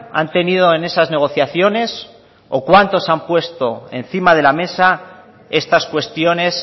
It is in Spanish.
han tenido en esas negociaciones o cuánto se han puesto encima de la mesa estas cuestiones